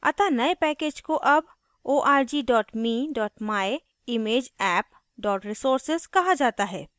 अतः नये package को अब org me myimageapp resources कहा जाता है